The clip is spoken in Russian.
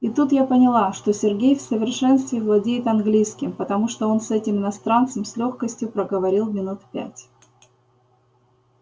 и тут я поняла что сергей в совершенстве владеет английским потому что он с этим иностранцем с лёгкостью проговорил минут пять